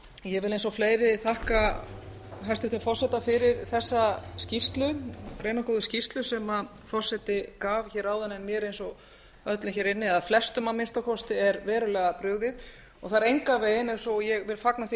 ég vil eins og fleiri þakka hæstvirtum forseta fyrir þessa skýrslu greinargóðu skýrslu sem forseti gaf hér áðan en mér eins og öllum eða flestum að minnsta kosti er verulega brugðið og það er engan veginn og ég vil fagna því